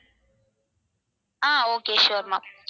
ah okay sure ma'am